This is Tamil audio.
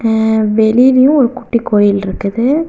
ஆ வெளியிலயு ஒரு குட்டி கோயில் இருக்குது.